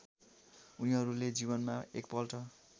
उनीहरूले जीवनमा एकपल्ट